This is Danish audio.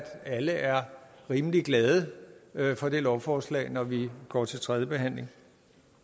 alle er rimelig glade for det lovforslag når vi går til tredje behandling